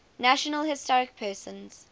national historic persons